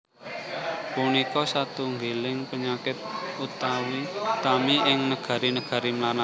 Punika satunggiling panyakit utami ing negari negari mlarat